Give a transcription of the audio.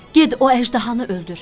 Get o əjdahanı öldür.